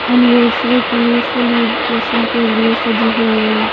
Anniversary के लिए celebration के लिए सजी हुई है।